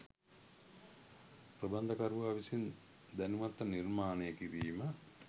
ප්‍රබන්ධකරුවා විසින් දැනුවත්ව නිර්මාණය කිරීම